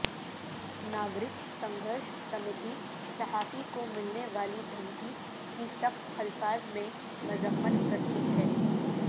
ناگرک سنگھرش سمیتی صحافی کو ملنے والی دھمکی کی سخت الفاظ میں مذمت کرتی ہے